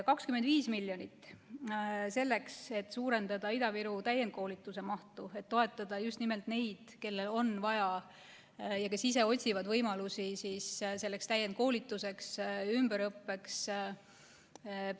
25 miljonit selleks, et suurendada Ida-Viru täienduskoolituse mahtu, et toetada just nimelt neid, kellel on vaja ja kes ise otsivad võimalusi täienduskoolituseks ja ümberõppeks.